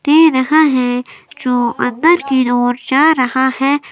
दे रहा है जो अंदर के ओर जा रहा है।